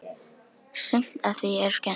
Sumt af því er skemmt.